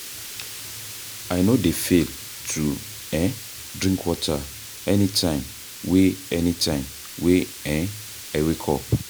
I no dey fail to um drink water anytime wey anytime wey um I wake up.